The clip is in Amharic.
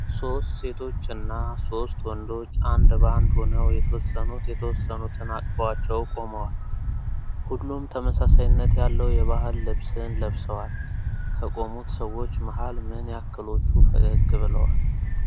ሶስት ሴቶች እና ሶስት ወንዶች አንድ ባንድ ሆነው የተወሰኑት የተወሰኑትን አቅፈዋቸው ቆመዋል። ሁሉም ተመሳሳይነት ያለው የባህል ልብስን ለብሰዋል። ከቆሙት ሰዎች መሃል ምን ያክሎቹ ፈገግ ብለዋል?